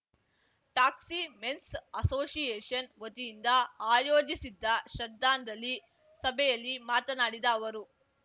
taxi men's association ವತಿಯಿಂದ ಆಯೋಜಿಸಿದ್ದ ಶ್ರದ್ಧಾಂಜಲಿ ಸಭೆಯಲ್ಲಿ ಮಾತನಾಡಿದ ಅವರು